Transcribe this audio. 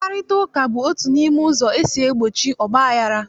Mkparịtaụka bụ otu n'ime ụzọ esi egbochi ọgbaghara